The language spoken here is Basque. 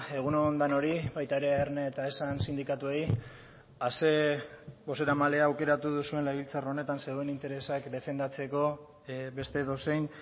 egun on denoi baita erne eta esan sindikatuei ere a zein bozeramailea aukeratu duzuen legebiltzar honetan zuen interesak defendatzeko beste edozein